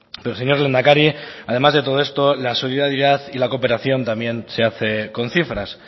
pero señor lehendakari además de todo esto la solidaridad y la cooperación también se hace con cifras